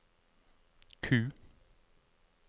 Q